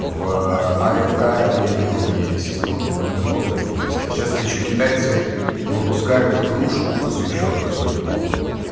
в афк арене он есть он в много где есть а сейчас ещё китайцы выпускают игрушку посвящённую соню куну